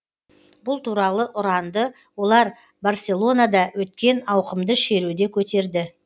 бұл туралы ұранды олар барселонада өткен ауқымды шеруде көтерді